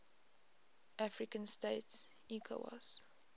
african states ecowas